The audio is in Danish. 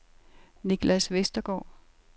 Nicklas Westergaard